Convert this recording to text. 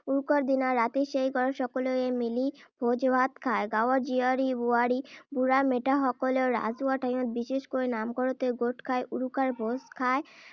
উৰুকাৰ দিনা ৰাতি সেই ঘৰত সকলোৱে মিলি ভোজ-ভাত খায়। গাঁৱৰ জীয়াৰী-বোৱাৰী, বুঢ়া-মেঠাসকলেও ৰাজহুৱা ঠাইত, বিশেষকৈ নামঘৰতে গোট খাই উৰুকাৰ ভোজ খায়।